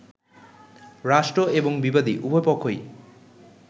রাষ্ট্র এবং বিবাদী, উভয় পক্ষই